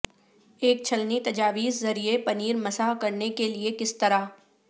ایک چھلنی تجاویز ذریعے پنیر مسح کرنے کے لئے کس طرح